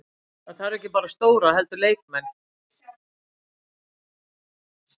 Það þarf ekki bara stjóra heldur leikmenn.